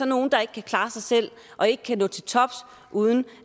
nogle der ikke kan klare sig selv og ikke kan nå til tops uden